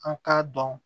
An k'a dɔn